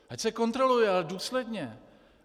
Ať se kontroluje, ale důsledně.